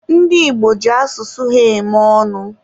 ndị Igbo ji asụsụ ha eme ọnụ